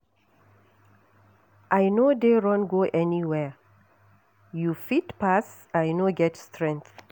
I no dey run go anywhere, you fit pass I no get strength